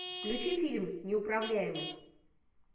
включи фильм неуправляемый